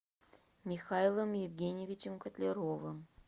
михаилом евгеньевичем котляровым